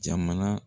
Jamana